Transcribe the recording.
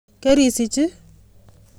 Kerisich i?